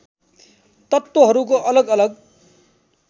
तत्त्वहरूको अलग अलग